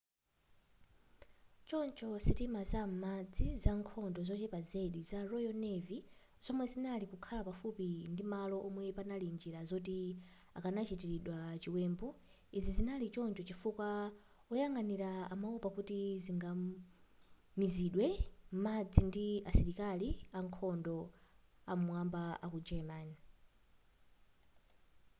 choncho sitima za m'madzi zankhondo zochepa zedi za royal navy zomwe zinali kukhala pafupi ndimalo omwe panali njira zoti akanachitiridwa chiwembu izi zinali choncho chifukwa woyang'anira amaopa kuti zingamizidwe m'madzi ndi asilikali ankhondo am'mwamba aku german